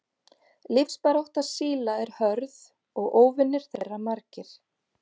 Lífsbarátta síla er hörð og óvinir þeirra margir.